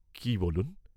কি বলুন।